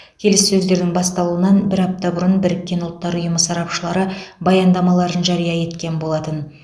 келіссөздердің басталуынан бір апта бұрын біріккен ұлттар ұйымы сарапшылары баяндамаларын жария еткен болатын